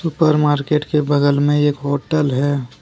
ऊपर मार्केट के बगल में एक होटल है।